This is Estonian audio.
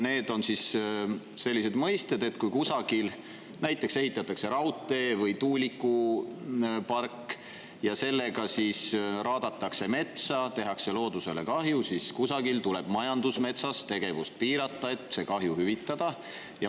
Need on mõisted, kui ehitatakse näiteks raudtee või tuulikupark ning seetõttu raadatakse metsa ja tehakse loodusele kahju, ja siis kusagil tuleb majandusmetsas tegevust piirata, et see kahju hüvitada.